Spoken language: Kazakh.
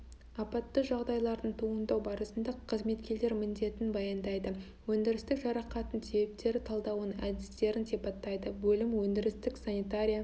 апатты жағдайлардың туындау барысында қызметкерлер міндетін баяндайды өндірістік жарақаттың себептер талдауының әдістерін сипаттайды бөлім өндірістік санитария